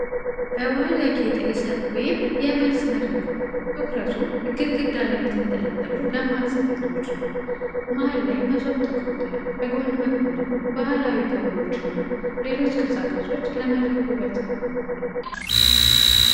በባህል ያጌጠ የሠርግ ወይም የመልስ መድረክ ነው፣ ትኩረቱ ግድግዳ ላይ በተንጠለጠሉ ደማቅ ሰፌዶች ነው። መሃል ላይ መሶብ ተቀምጧል። በጎን በኩልም ባህላዊ ከበሮዎች እና ሌሎች ቅርጻ ቅርጾች ለመድረኩ ውበት ሰጥተዋል።